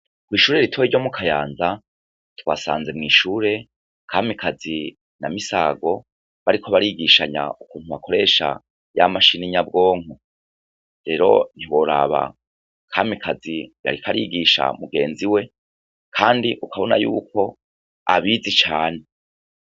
Kw'ishure ritoya ryo mu Kayanza twasanze mw'ishure Kamikazi na Misago bariko barisishanya ukuntu bakoresha ya mashini nyabwonko rero ntiworaba Kamikazi yariko arigisha mugenzi we kandi ukabona yuko abizi cane.